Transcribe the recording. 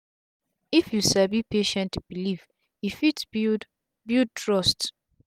if u sabi patient believe e fit build build trust